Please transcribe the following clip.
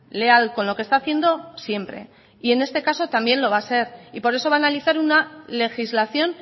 leal con lo que está haciendo siempre y en este caso también lo va a ser y por eso van a analizar una legislación